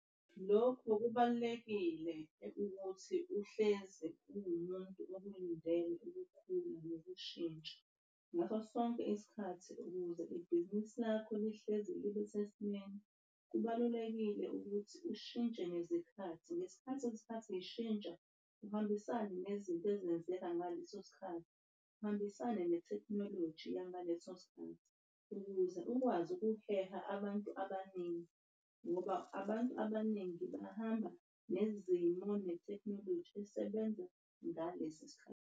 Lokho kubalulekile ukuthi uhlezi uwumuntu ukulindele ukukhula nokushintsha ngaso sonke isikhathi. Ukuze ibhizinisi lakho lihlezi libe sesimeni kubalulekile ukuthi ushintshe nezikhathi. Ngesikhathi izikhathi zishontsha uhambisane nezinto ezenzeka ngaleso sikhathi. Uhambisane nethekhnoloji yangaleso sikhathi ukuze ukwazi ukuheha abantu abaningi. Ngoba abantu abaningi bahamba nezimo nethekhnoloji esebenza ngaleso sikhathi.